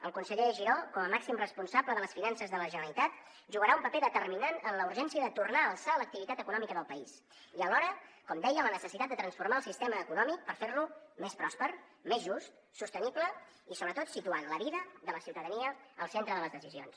el conseller giró com a màxim responsable de les finances de la generalitat jugarà un paper determinant en la urgència de tornar a alçar l’activitat econòmica del país i alhora com deia la necessitat de transformar el sistema econòmic per fer lo més pròsper més just sostenible i sobretot situant la vida de la ciutadania al centre de les decisions